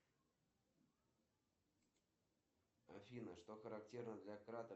салют надо перевести кириллу на карту сорок шесть семьдесят семь